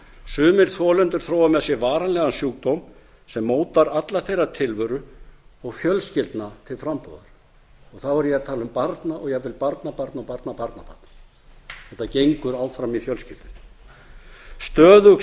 sumir þolendur þróa með sér varanlegan sjúkdóm sem mótar alla þeirra tilveru og fjölskyldna til frambúðar og þá er ég að tala um barn og jafnvel barnabörn og barnabarnabörn þetta gengur áfram í fjölskyldunni stöðug